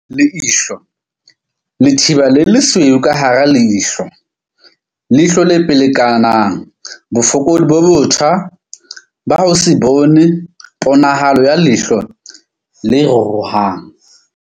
Leihlo. Letheba le lesweu ka hara leihlo, leihlo le pelekanang, bofokodi bo botjha ba ho se bone, ponahalo ya leihlo le ruruhang.